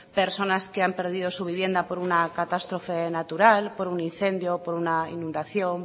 personas que han perdido su vivienda por una catástrofe natural por un incendio por una inundación